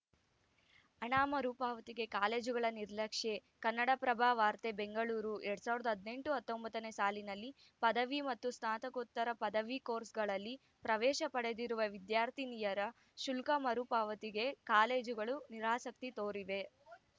ಹಣ ಮರುಪಾವತಿಗೆ ಕಾಲೇಜುಗಳ ನಿರ್ಲಕ್ಷ್ಯ ಕನ್ನಡಪ್ರಭ ವಾರ್ತೆ ಬೆಂಗಳೂರು ಎರಡ್ ಸಾವರದ ಹದಿನೆಂಟು ಹತ್ತೊಂಬತ್ತ ನೇ ಸಾಲಿನಲ್ಲಿ ಪದವಿ ಮತ್ತು ಸ್ನಾತಕೋತ್ತರ ಪದವಿ ಕೋರ್ಸ್‌ಗಳಲ್ಲಿ ಪ್ರವೇಶ ಪಡೆದಿರುವ ವಿದ್ಯಾರ್ಥಿನಿಯರ ಶುಲ್ಕ ಮರು ಪಾವತಿಗೆ ಕಾಲೇಜುಗಳು ನಿರಾಸಕ್ತಿ ತೋರಿವೆ